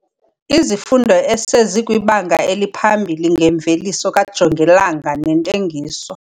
Izifundo esezikwiBanga eliPhambili ngeMveliso kaJongilanga neNtengiso.